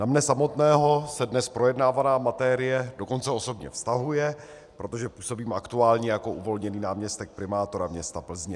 Na mě samotného se dnes projednávaná materie dokonce osobně vztahuje, protože působím aktuálně jako uvolněný náměstek primátora města Plzně.